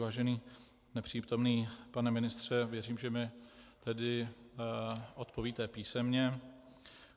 Vážený nepřítomný pane ministře, věřím, že mi tedy odpovíte písemně.